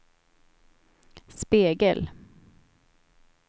spegel